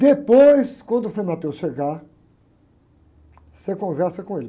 Depois, quando o frei chegar, você conversa com ele.